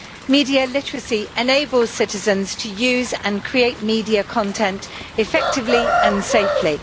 Media literacy enable citizens to use and create media content effectively and safely.